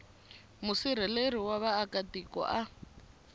musirheleli wa vaaka tiko a